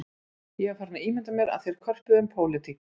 Ég var farinn að ímynda mér að þeir körpuðu um pólitík